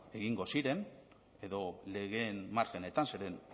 egingo ziren edo legeen margenetan zeren